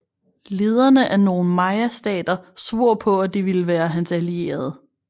Lederne af nogle mayastater svor på at de ville være hans allierede